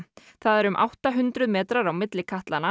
það eru um átta hundruð metrar á milli